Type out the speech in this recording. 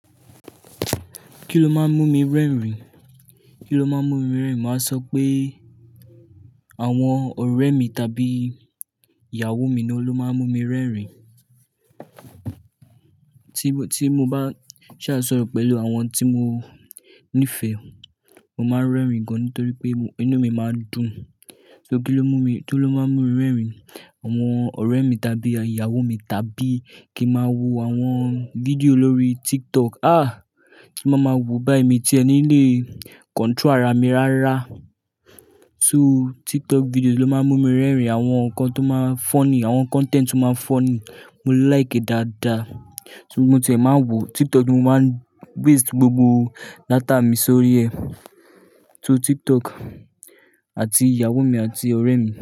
Kí ló máa ń mú mi rẹ́rìn-ín? Kí ló máa ń mú mi rẹ́rìn-ín? Màá sọ pé àwọn ọ̀rẹ́ mi tàbí ìyàwó mi ni ó ló máa ń mú mi rẹ́rìn-ín. Tí mo, tí mo bá ṣàsọ̀rọ̀ pẹ̀lú àwọn tí mo nífẹ̀ẹ́, mo máa ń rẹ́rìn-ín gan nítorí pé inú mi máa dùn. Kí ló mú mi, kí ló máa ń mú mi rẹ́rìn-ín? Àwọn ọ̀rẹ́ mi tàbí ìyàwó mi tàbí kí máa wo àwọn fídíò lórí TikTok. À! Mo máa ma wòó bá ẹ̀ mi tìẹ nílé, control ara mi rárá. So TikTok fídíò ló máa ń mú mi rẹ́rìn-ín. Àwọn nǹkan tó máa ń funny, àwọn content tó máa ń funny, mo like e dáadáa. Mo tìẹ́ máa ń wòó TikTok ni mo máa ń waste gbogbo data mi sórí ẹ. So TikTok àti ìyàwó mi àti ọ̀rẹ́ mi.